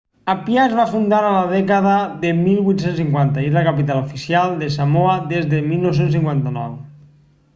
apia es va fundar a la dècada de 1850 i és la capital oficial de samoa des de 1959